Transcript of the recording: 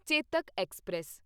Chetak express